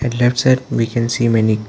At left side we can see many --